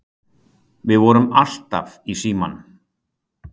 Við vorum alltaf í símanum.